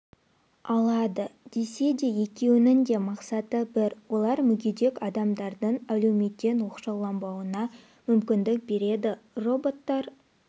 алады десе де екеуінің де мақсаты бір олар мүгедек адамдардың әлеуметтен оқшауланбауына мүмкіндік береді роботтар